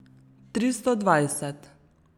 Tristo dvajset.